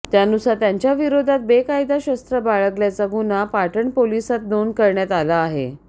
त्यानुसार त्यांच्याविरोधात बेकायदा शस्त्र बाळगल्याचा गुन्हा पाटण पोलीसांत नोंद करण्यात आला आहे